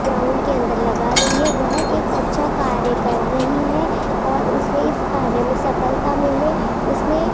ground के अंदर लगा रही है वह एक अच्छा कार्य कर रही है और उसे इस कार्य में सफलता मिले उसने --